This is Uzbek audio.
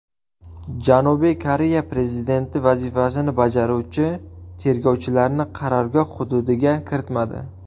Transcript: Janubiy Koreya prezidenti vazifasini bajaruvchi tergovchilarni qarorgoh hududiga kiritmadi.